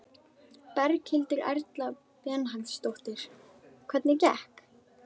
Berghildur Erla Bernharðsdóttir: Hvernig gekk?